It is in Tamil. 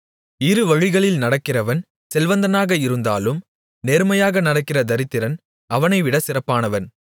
இருவழிகளில் நடக்கிறவன் செல்வந்தனாக இருந்தாலும் நேர்மையாக நடக்கிற தரித்திரன் அவனைவிட சிறப்பானவன்